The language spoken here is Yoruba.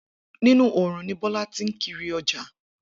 Inú oòrùn ni Bo̩̩lá ti ń kiri o̩jà